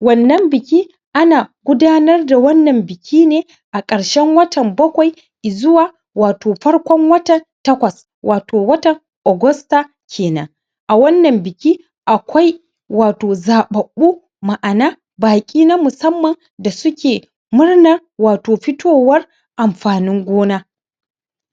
wannan biki ana gudanar da wannan biki ne a ƙarshen watan bakwai izuwa wato farkon watan takwas wato watan Augasta kenan a wannan biki akwai wato zaɓaɓɓu ma'ana wato baƙi na musamman da suke murnan wato fitowar amfanin gona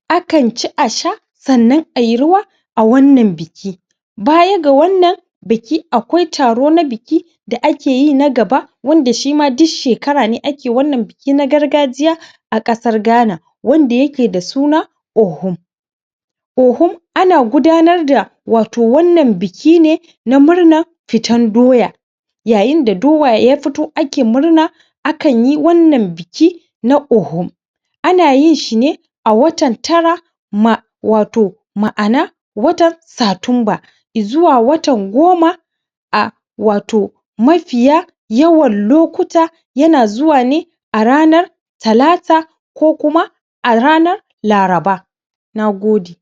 akan ci a sha sannan ayi rawa a wannan biki baya ga wannan biki akwai taro na biki da ake yi na gaba wanda shima duk shekara ne ake wannan biki na gargajiya a ƙasar Ghana wanda yake da suna Ohum Ohum ana gudanar da wato wannan biki ne na murnar fitan Doya yayin da Dowa ya fito ake murna akan yi wannan biki na Ohum ana yin shi ne a watan tara ma wato ma'ana watan Satumba izuwa watan goma a wato mafiya yawan lokuta yan zuwa ne a ranar Talata ko kuma a ranar Laraba Nagode